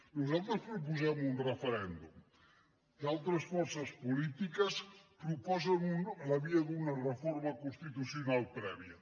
nosaltres proposem un referèndum d’altres forces polítiques proposen la via d’una reforma constitucional prèvia